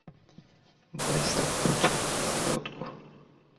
быстро почистить селедку